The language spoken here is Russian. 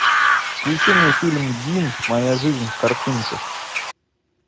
включи мне фильм дин моя жизнь в картинках